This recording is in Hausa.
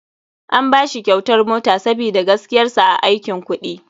An bashi kyautar mota sabida gaskiyar sa a aikin kuɗi.